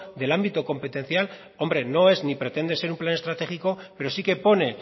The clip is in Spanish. del ámbito competencial hombre no es ni pretende ser un plan estratégico pero sí que pone